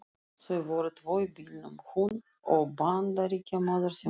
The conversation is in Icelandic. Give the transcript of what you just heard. Þau voru tvö í bílnum, hún og Bandaríkjamaður sem ók.